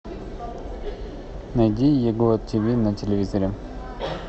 найди его ти ви на телевизоре